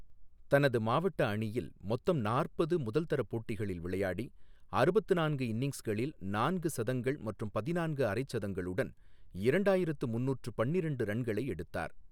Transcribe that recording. தனது மாவட்ட அணியில் மொத்தம் நாற்பது முதல் தர போட்டிகளில் விளையாடி, அறுபத்து நான்கு இன்னிங்ஸ்களில் நான்கு சதங்கள் மற்றும் பதினான்கு அரை சதங்களுடன் இரண்டாயிரத்து முன்னூற்று பன்னிரெண்டு ரன்களை எடுத்தார்.